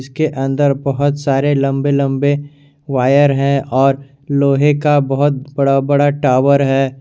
इसके अंदर बहुत सारे लंबे लंबे वायर हैं और लोहे का बहुत बड़ा बड़ा टॉवर है।